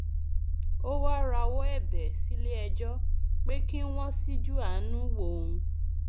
ó wáá rawọ ẹbẹ sílẹẹjọ pé kí wọn ṣíjú àánú wo òun